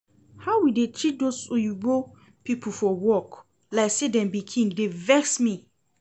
How we dey treat doz oyinbo people for work, like say dem be king dey vex me